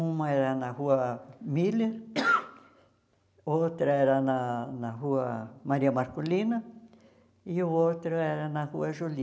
Uma era na rua Miller, outra era na na rua Maria Marcolina e o outro era na rua Juli.